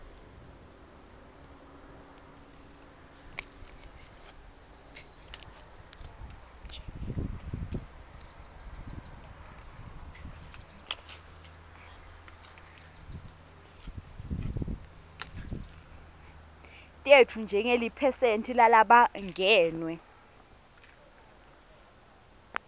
tetfu njengeliphesenti lalabangenwe